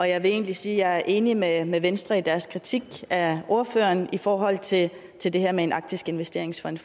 jeg vil egentlig sige at jeg er enig med med venstre i deres kritik af ordføreren i forhold til til det her med en arktisk investeringsfond